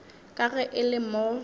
ka ge e le mo